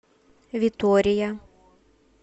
витория